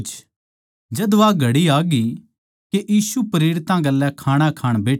जद वा घड़ी आग्यी के यीशु प्रेरितां गेल्या खाणा खाण बैठ्या